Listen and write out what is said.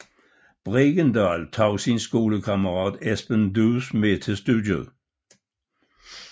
Bregendal tog sin skolekammerat Esben Duus med til studiet